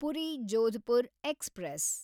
Puri Jodhpur express